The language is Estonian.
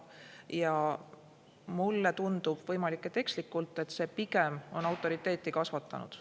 Ja mulle tundub – võimalik, et ekslikult –, et see pigem on autoriteeti kasvatanud.